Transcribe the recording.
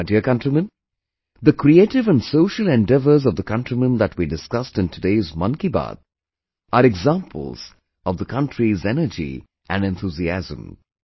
My dear countrymen, the creative and social endeavours of the countrymen that we discussed in today's 'Mann Ki Baat' are examples of the country's energy and enthusiasm